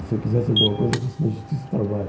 Se eu quisesse alguma coisa, eu fosse na Justiça do Trabalho.